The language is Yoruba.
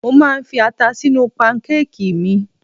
Mo máa ń fi ata sínú pankákìì mi.